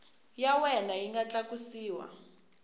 ya wena yi nga tlakusiwa